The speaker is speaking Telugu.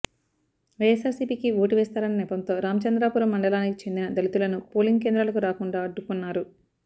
వైఎస్సార్సీపీకి ఓటు వేస్తారన్న నెపంతో రామచంద్రాపురం మండలానికి చెందిన దళితులను పోలింగ్ కేంద్రాలకు రాకుండా అడ్డుకున్నారు